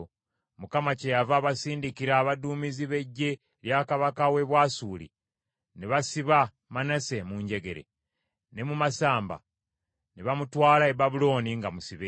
Mukama kyeyava abasindikira abaduumizi b’eggye lya kabaka w’e Bwasuli, ne basiba Manase mu njegere ne mu masamba, ne bateeka eddobo mu nnyindo ye, ne bamutwala e Babulooni nga musibe.